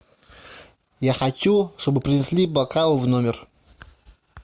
я хочу чтобы принесли бокал в номер